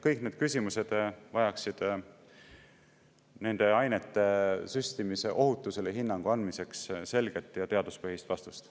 Kõik need küsimused vajaksid nende ainete süstimise ohutusele hinnangu andmiseks selget ja teaduspõhist vastust.